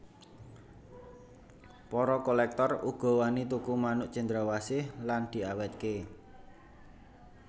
Para kolèktor uga wani tuku manuk cendrawasih lan diawètké